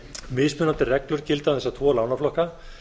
mismunandi reglur gilda um þessa tvo lánaflokka